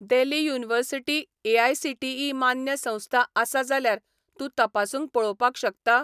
देली university AICTE मान्य संस्था आसा जाल्यार तूं तपासून पळोवपाक शकता?